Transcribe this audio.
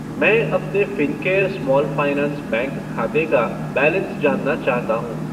मैं अपने Fincare small finance bank खाते का बैलेंस जानना चाहता हूँ।